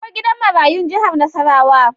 Akwai gidan marayun jihar Nasarawa.